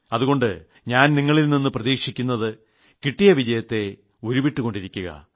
അതുകൊണ്ട് ഞാൻ നിങ്ങളിൽ നിന്ന് പ്രതീക്ഷിക്കുന്നത് കിട്ടിയ വിജയത്തെ ഉരുവിട്ടുകൊണ്ടിരിക്കുക